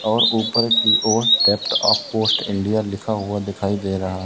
और ऊपर की ओर डेप्ट ऑफ पोस्ट इंडिया लिखा हुआ दिखाई दे रहा है।